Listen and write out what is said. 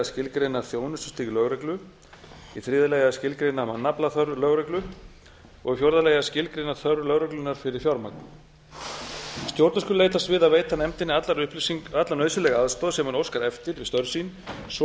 skilgreina þjónustustig lögreglu þriðja að skilgreina mannaflaþörf lögreglu fjórði að skilgreina þörf lögreglunnar fyrir fjármagn stjórnvöld skulu leitast við að veita nefndinni alla nauðsynlega aðstoð sem hún óskar eftir við störf sín svo